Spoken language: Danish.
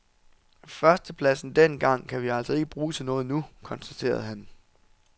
Førstepladsen dengang kan vi altså ikke bruge til noget nu, konstaterede han.